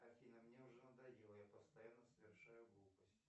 афина мне уже надоело я постоянно совершаю глупости